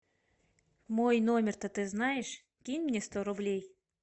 мой номер то ты знаешь кинь мне сто рублей